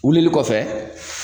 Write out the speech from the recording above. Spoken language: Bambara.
Wilili kɔfɛ